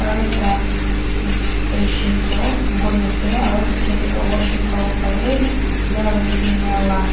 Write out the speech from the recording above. aru ekta patient toh buhi ase aru piche te toh washroom sawo pare male and female la.